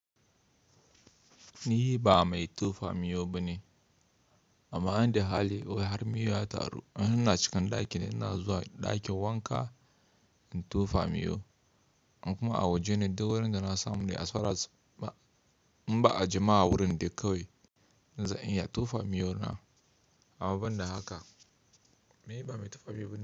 Ni ba mai tofa miyau bane, amma in da hali wai har miyau ya taru. In ina cikin ɗaki ne, ina zuwa ɗakin wanka in tofa miyau. In kuma a waje ne duk warinda da na samu ne as far as. Ba, in ba jama'a wurin dai kawai zan iya tofa miyau na. Abun da haka, ni ba mai tofa miyau bane.